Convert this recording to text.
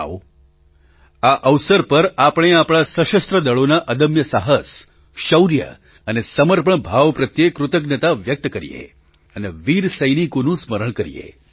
આવો આ અવસર પર આપણે આપણા સશસ્ત્ર દળોના અદમ્ય સાહસ શૌર્ય અને સમર્પણ ભાવ પ્રત્યે કૃતજ્ઞતા વ્યક્ત કરીએ અને વીર સૈનિકોનું સ્મરણ કરીએ